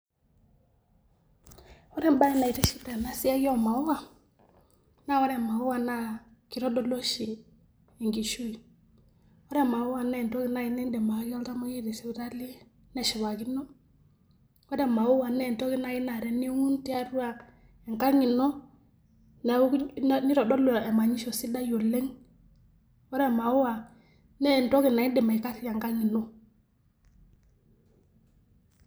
Oore embaye naitiship teena siai oo imaua, naa oore imaua naa keitodolu ooshi enkishui. Oore imaua naa entoki naaaji niidim ayaki oltamueyiai te sipitali, neshipakino, ore imaua naa entoki naaji naa teniun tiatua enkang iino, neitodolu emanyisho sidai oleng, ore imaua naa entoki naa iidim aikarie enkang' iino.